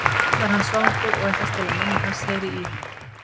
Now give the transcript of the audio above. kallar hann svangur og ætlast til að mamma hans heyri í honum.